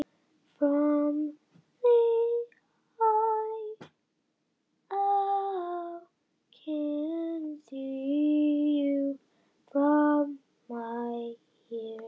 Undir venjulegum kringumstæðum verður lamb kynþroska við sex mánaða aldur.